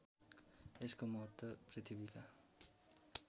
यसको महत्त्व पृथ्वीका